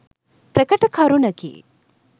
ප්‍රකට කරුණකි.